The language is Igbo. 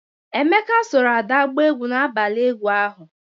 Emeka soro Ada gbaa egwu n'abalị egwu ahụ.